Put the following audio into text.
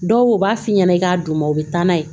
Dɔw b'a f'i ɲɛna i k'a d'u ma u bɛ taa n'a ye